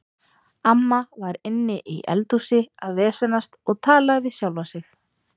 Amma var inni í eldhúsi að vesenast og talaði við sjálfa sig.